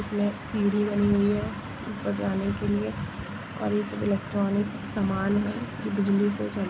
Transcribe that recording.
इसमें सीढ़ी बनी हुई है ऊपर के लिए और सन इलेक्ट्रॉनिक सामान बिजली से चलते --